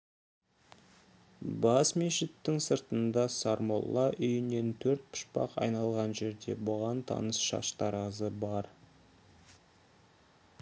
бас мешіттің сыртында сармолла үйінен төрт пұшпақ айналған жерде бұған таныс шаштаразы бар